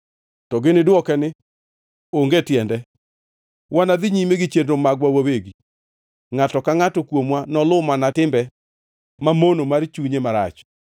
To gini dwoke ni, ‘Onge tiende. Wanadhi nyime gi chenro magwa wawegi; ngʼato ka ngʼato kuomwa noluw mana timbe mamono mar chunye marach.’ ”